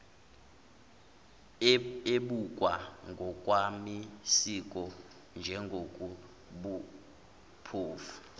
ebukwa ngokwamasiko njengokobuphofu